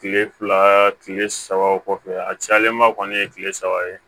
Kile fila kile saba o kɔfɛ a cayalenba kɔni ye kile saba ye